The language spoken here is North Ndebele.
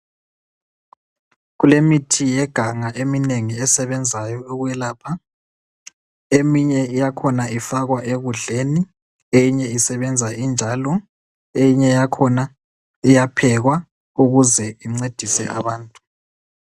Kulemithi yeganga eminengi esebenzayo ukwelapha, eminye yakhona ifakwa ekudleni eminye isebenza injalo eyinye yakhona iyaphekwa ukuze incedise abantu.